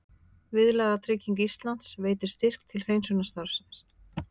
Viðlagatrygging Íslands veitir styrk til hreinsunarstarfsins